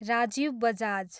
Rajiv Bajaj